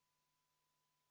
Palun, kümme minutit vaheaega!